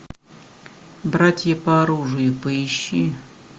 братья по оружию поищи